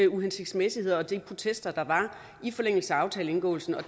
uhensigtsmæssigheder og de protester der var i forlængelse af aftaleindgåelsen og